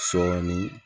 Sɔɔni